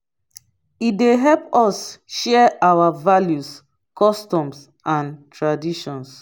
e dey help us share our values customs and traditions.